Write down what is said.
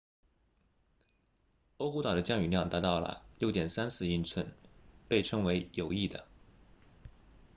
欧胡岛 oahu 的降雨量达到了 6.34 英寸被称为有益的